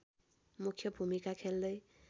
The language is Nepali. मुख्य भूमिका खेल्दै